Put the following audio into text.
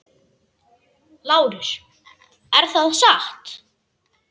LÁRUS: Er það satt?